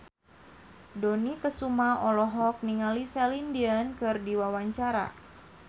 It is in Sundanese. Dony Kesuma olohok ningali Celine Dion keur diwawancara